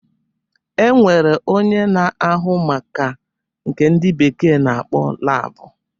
E nwere onye na-ahụ maka nke ndị bekee na-akpọ labụ